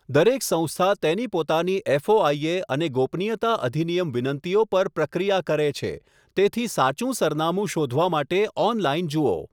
દરેક સંસ્થા તેની પોતાની એફઓઆઈએ અને ગોપનીયતા અધિનિયમ વિનંતીઓ પર પ્રક્રિયા કરે છે, તેથી સાચું સરનામું શોધવા માટે ઑનલાઇન જુઓ.